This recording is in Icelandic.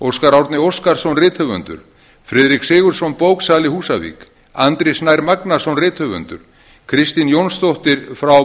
óskar árni óskarsson rithöfundur friðrik sigurðsson bóksali húsavík andri snær magnason rithöfundur kristín jónsdóttir frá